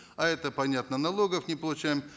а это понятно налогов не получаем